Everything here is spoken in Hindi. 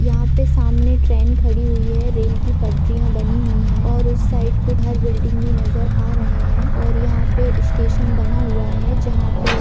यहा पे सामने ट्रेन खड़ी हुई हैरेल की पटरिया बनी हुई हैऔर उस साइड कुछ बिल्डिंग भी नजर आ रहे है और यहा पे स्टेशन बना हुआ है जहा पे--